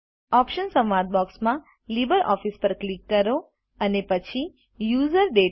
options સંવાદ બોક્સમાં LibreOffice પર ક્લિક કરો અને પછી યુઝર દાતા